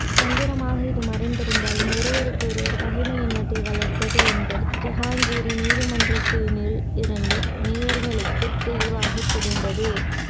தந்திரமாக இது மறைந்திருந்தாலும் ஒருவருக்கு ஒருவர் பகைமை எண்ணத்தை வளர்த்தது என்பது ஜஹாங்கிரின் நீதிமன்றத்தினுள் இருந்த நோக்காளர்களுக்கு தெளிவாகத் தெரிந்தது